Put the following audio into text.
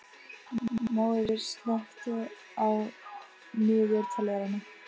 Móeiður, slökktu á niðurteljaranum.